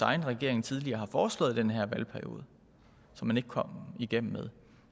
egen regering tidligere har foreslået i den her valgperiode som man ikke kom igennem med